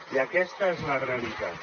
i aquesta és la realitat